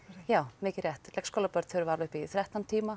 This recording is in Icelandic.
já mikið rétt leikskólabörn þurfa alveg upp í þrettán tíma